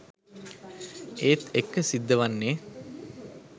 ඒත් එක්ක සිද්ධවන්නේ